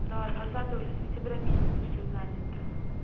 да с двадцатого уже с сентября месяца все занято